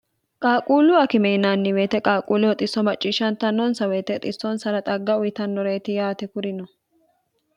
qaaquullu akime yinaanni woyete qaaquulleho xisso macciishshantannonsa woyte xissonsara xagga uyitannoreeti yaate kuri no